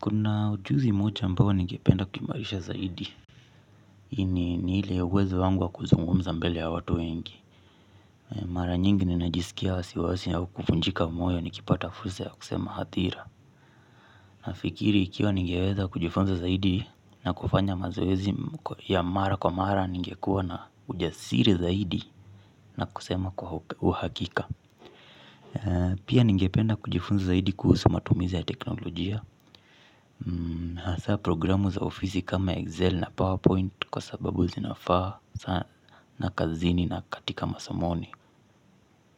Kuna ujuzi moja ambao ningependa kuimarisha zaidi. Ini nile wezo wangu wa kuzungumza mbele ya watu wengi. Mara nyingi ninajisikia wasiwasi au kufunjika moyo nikipata fursa ya kusema hatira. Na ikiri ikiwa ningeweza kujifunza zaidi na kufanya mazoezi ya mara kwa mara nungekuwa na ujasiri zaidi na kusema kwa uhakika. Pia ningependa kujifunza zaidi kuhusu matumizi ya teknolojia. Haasa programu za ofisi kama Excel na PowerPoint kwa sababu zinafaa sana na kazini na katika masomoni.